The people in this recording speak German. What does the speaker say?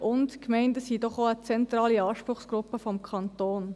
Zudem sind die Gemeinden doch auch eine zentrale Anspruchsgruppe des Kantons.